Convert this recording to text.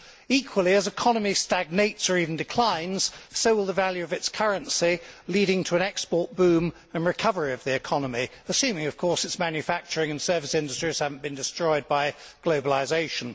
Equally, as an economy stagnates or even declines, so will the value of its currency, leading to an export boom and recovery of the economy, assuming, of course, its manufacturing and service industries have not been destroyed by globalisation.